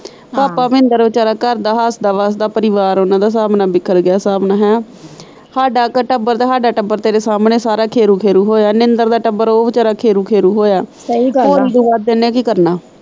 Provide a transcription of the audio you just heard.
ਪਾਪਾ ਮਹਿੰਦਰ ਵਿਚਾਰਾ ਘਰ ਦਾ ਹੱਸਦਾ ਵੱਸਦਾ ਪਰਿਵਾਰ ਉਨਾਂ ਦਾ ਹਿਸਾਬ ਨਾਲ ਵਿਖਰ ਗਿਆ ਸਾਬ ਨਾਲ, ਹਾਡਾ ਕ ਟੱਬਰ ਸਾਰਾ ਖੇਰੂ ਖੇਰੂ ਹੋਇਆ, ਨਿੰਦਰ ਦਾ ਟੱਬਰ ਉਹ ਵਿਚਾਰਾ ਖੇਰੂ ਖੇਰੂ ਹੋਇਆ।